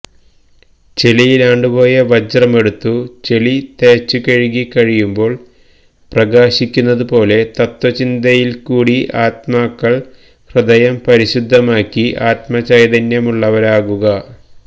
ചെളിയിലാണ്ടുപോയ വജ്രമെടുത്തു ചെളി തേച്ചുകഴുകി കഴിയുമ്പോള് പ്രകാശിക്കുന്നതുപോലെ തത്ത്വചിന്തയില്ക്കൂടി ആത്മാക്കള് ഹൃദയം പരിശുദ്ധമാക്കി ആത്മചൈതന്യമുള്ളവരാകുക